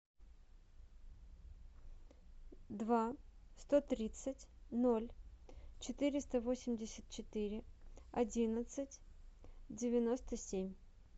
два сто тридцать ноль четыреста восемьдесят четыре одиннадцать девяносто семь